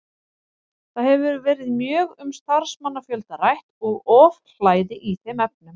Það hefur verið mjög um starfsmannafjölda rætt og ofhlæði í þeim efnum.